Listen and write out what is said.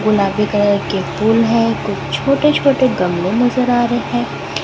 गुलाबी कलर के फूल हैं कुछ छोटे छोटे गमले नजर आ रहे हैं।